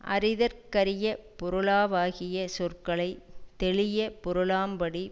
அறிதற்கரிய பொருளாவாகிய சொற்களை தெளியப் பொருளாம்படி